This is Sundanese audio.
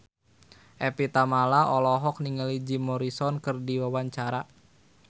Evie Tamala olohok ningali Jim Morrison keur diwawancara